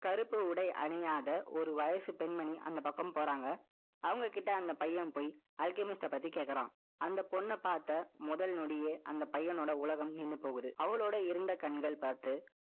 கருப்பு உடை அணியாத, ஒரு வயசு பெண்மணி, அந்த பக்கம் போறாங்க. அவங்க கிட்ட, அந்த பையன் போய், ultimate அ பத்தி கேட்கிறான். அந்த பொண்ணை பார்த்த, முதல் நொடியே, அந்த பையனோட உலகம் நின்று போகுது. அவளோட இருண்ட கண்கள் பார்த்து, அவளோட இருந்த கண்கள் பார்த்து,